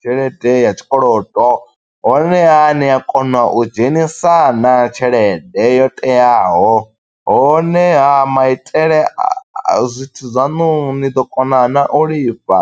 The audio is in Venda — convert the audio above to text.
tshelede ya tshikolodo. Honeha ni a kona u dzhenisa naa, tshelede yo teaho? Honeha maitele, zwithu zwaṋu ni ḓo kona naa u lifha? .